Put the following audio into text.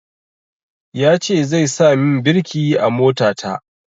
Ya ce zai sa min birki a mota ta